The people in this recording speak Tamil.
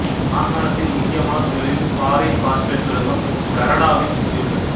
மாகாணத்தின் முக்கியமான தொழில்களில் பாறை பாஸ்பேட் சுரங்கம் கரடாவைச் சுற்றி உள்ளது